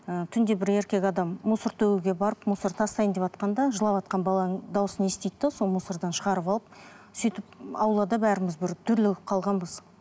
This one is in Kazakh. ыыы түнде бір еркек адам мусор төгуге барып мусор тастайын деватқанда жылаватқан баланың дауысын естиді де сол мусордан шығарып алып сөйтіп аулада бәріміз бір дүрлігіп қалғанбыз